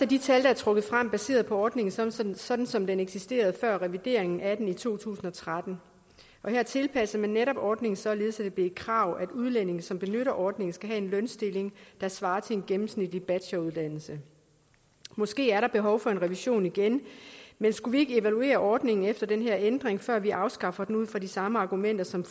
de tal der er trukket frem baseret på ordningen sådan sådan som den eksisterede før revideringen af den i to tusind og tretten og her tilpassede man netop ordningen således at det blev et krav at udlændinge som benytter ordningen skal have en lønstilling der svarer til en gennemsnitlig bacheloruddannelse måske er der behov for en revision igen men skulle vi ikke evaluere ordningen efter den her ændring før vi afskaffer den ud fra de samme argumenter som